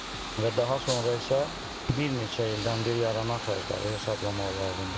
Və daha sonra isə bir neçə ildən bir yaranan xərcləri hesablamaq lazımdır.